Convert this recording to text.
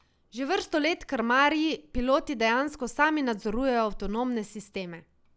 Že vrsto let krmarji, piloti dejansko samo nadzorujejo avtonomne sisteme.